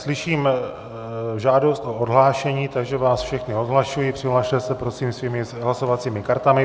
Slyším žádost o odhlášení, takže vás všechny odhlašuji, přihlaste se prosím svými hlasovacími kartami.